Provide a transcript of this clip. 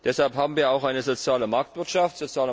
Deshalb haben wir auch eine soziale Marktwirtschaft.